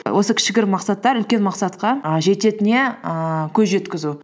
осы кішігірім мақсаттар үлкен мақсатқа і жететініне ііі көз жеткізу